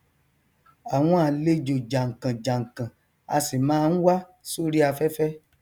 àwọn àlejò jànkànjànkàn a sì máa n wá sórí afẹfẹ